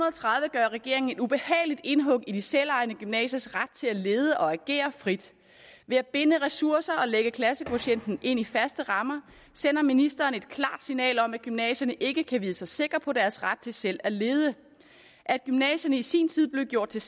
gør regeringen et ubehageligt indhug i de selvejende gymnasiers ret til at lede og agere frit ved at binde ressourcer og lægge klassekvotienten ind i faste rammer sender ministeren et klart signal om at gymnasierne ikke kan vide sig sikre på deres ret til selv at lede at gymnasierne i sin tid blev gjort til